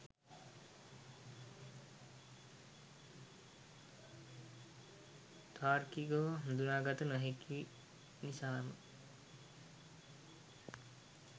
තාර්කිකව හඳුනාගත නොහැකි නිසාම